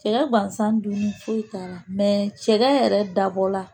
Cɛya gansan dun foyi t'a la cɛya yɛrɛ dabɔ la